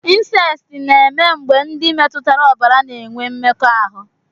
Insesti na-eme mgbe ndị metụtara ọbara na-enwe mmekọahụ.